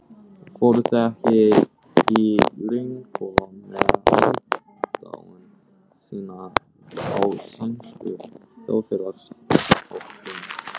Fóru þau ekki í launkofa með aðdáun sína á sænskum þjóðfélagsháttum.